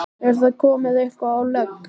Er það komið eitthvað á legg?